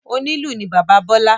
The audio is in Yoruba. Onílù ni bàbá Bọ́lâ.